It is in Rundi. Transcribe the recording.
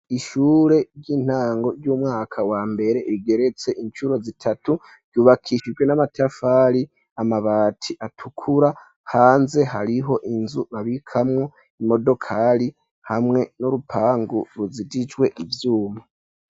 Ishure ry'intango ry'umwaka wa mbere igeretse incuro zitatu, ryubakishijwe n'amatafari, amabati atukura, hanze hariho inzu babikamwo imodokari hamwe n'urupangu ruzitijwe ivyuma.